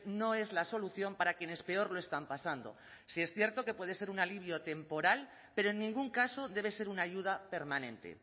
no es la solución para quienes peor lo están pasando sí es cierto que puede ser un alivio temporal pero en ningún caso debe ser una ayuda permanente